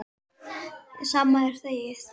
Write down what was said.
Sama og þegið!